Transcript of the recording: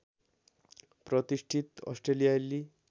प्रतिष्ठित अस्ट्रेलियाली